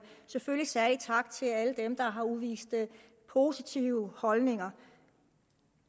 selvfølgelig særlig tak til alle dem der har udvist positive holdninger